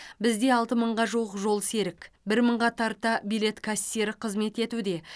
бізде алты мыңға жуық жолсерік бір мыңға тарта билет кассирі қызмет етуде